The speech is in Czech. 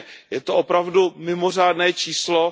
Je to opravdu mimořádné číslo.